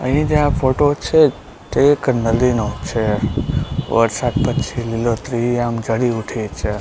અહીં જે આ ફોટો છે તે એક નદી નો છે વરસાદ પછી લીલોતરી આમ ચઢી ઉઠી છે.